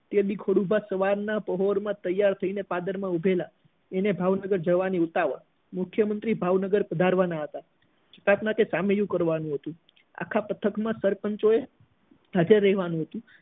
તે દિવસે ખોડુભા સવાર ના પોર માં તૈયાર થઇ ને પાદર માં ઉભેલા હતા એને ભાવનગર જવાની બહુ ઉતાવળ મુખ્ય મંત્રી ભાવનગર આવવાના હતા કારણ કે સામૈયું કરવાનું હતું આખા પાઠક માં સરપંચો એ હજાર રહેવાનું હતું